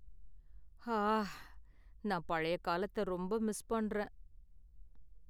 ஆ, நான் பழைய காலத்த ரொம்ப மிஸ் பண்றேன்.